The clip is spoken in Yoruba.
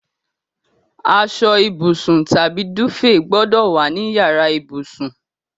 Asọ ìbùsùn tàbí dúfèè gbọ́dọ̀ wà ní yàrá ìbùsùn.